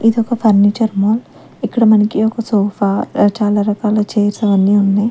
ఇదొక furniture mall ఇక్కడ మనకి ఒక సోఫా చాలా రకాల చైర్స్ అవన్ని ఉన్నాయ్.